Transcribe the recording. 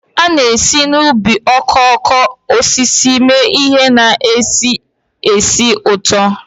A na-esi n'ubi okooko osisi mee ihe na-esi ísì ụtọ